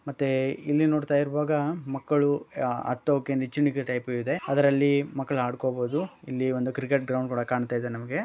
ಮತ್ತೆ ಇಲ್ಲಿ ನೋಡ್ತಾ ಇರುವಾಗ ಮಕ್ಕಳು ಹತ್ತೊಕೆ ನಿಚ್ಚಣಕಿ ಟೈಪ ಇದೆ ಅದರಲ್ಲಿ ಮಕ್ಕಳು ಆಡ್ಕೋಬಹುದು ಇಲ್ಲಿ ಒಂದು ಕ್ರಿಕೆಟ್ ಗ್ರೌಂಡ್ ಕುಡ ಕಾಣ್ತಾ ಇದೆ ನಮಗೆ.